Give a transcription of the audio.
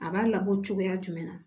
A b'a labɔ cogoya jumɛn na